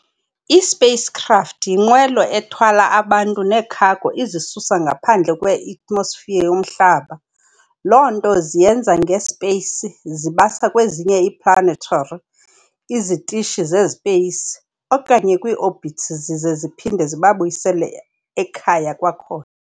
I-spacecraft y-inqwelo ethwala abantu nee-cargo izisusa ngaphandle kwe-Eatmosphere yomHlaba, loo nto ziyenza nge-space zibasa kwezinye ii-planetary, izitishi ze-space, okanye kwii-orbits zize ziphinde zibabuyisele ekhaya kwakhona.